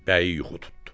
Bəyi yuxu tutdu.